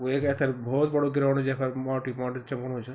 वेक ऐथर भौत बड़ू ग्राउंड यख माटू ही माटू चमकुणू च।